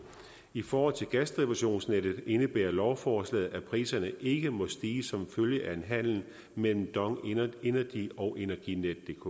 i forhold til gasdistributionsnettet indebærer lovforslaget at priserne ikke må stige som følge af en handel mellem dong energy og energinetdk